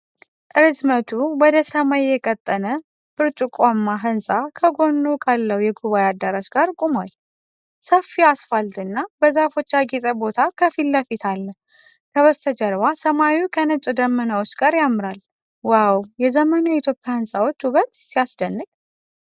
ርዝመቱ ወደ ሰማይ የቀጠነ ብርጭቆማ ህንጻ ከጎኑ ካለው የጉባዔ አዳራሽ ጋር ቁሟል። ሰፊ አስፋልትና በዛፎች ያጌጠ ቦታ ከፊት ለፊት አለ። ከበስተጀርባ ሰማዩ ከነጭ ደመናዎች ጋር ያምራል። "ዋው! የዘመኑ የኢትዮጵያ ህንጻዎች ውበት ሲያስደንቅ!"